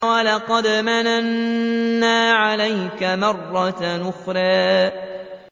وَلَقَدْ مَنَنَّا عَلَيْكَ مَرَّةً أُخْرَىٰ